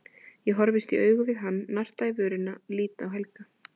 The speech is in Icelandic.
Ég horfist í augu við hann, narta í vörina, lít á Helga.